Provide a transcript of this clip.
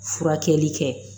Furakɛli kɛ